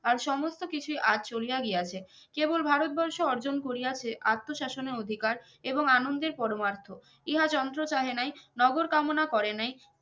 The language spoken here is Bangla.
আর সমস্ত কিছুই আজ চলিয়া গিয়াছে কেবল ভারতবর্ষ অর্জন করিয়াছে আত্মশাসন এর অধিকার এবং আনন্দের পরমার্থ ইহা যন্ত্র চাহে নাহি নগর কমনা করে নাই